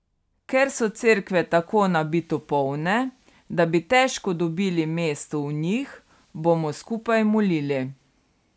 Ker so cerkve tako nabito polne, da bi težko dobili mesto v njih, bomo skupaj molili.